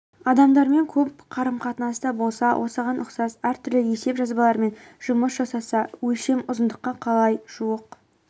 адамдармен көп қарым-қатынаста болса осыған ұқсас әртүрлі есеп жазбалармен жұмыс жасаса өлшем ұзындыққа қалай жуық